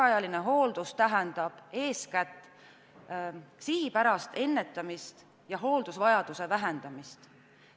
See tähendab ka sihipärast ennetamist ja hooldusvajaduse vähendamist.